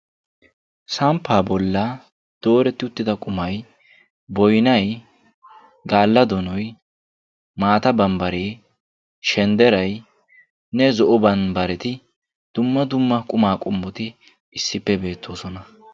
samppa bollani doretidi uttida qumay boynay, gaala donoy, maata bambare, shenderay, zo"o bambare ne dumma dumma qumma qomotti issipe beettossona.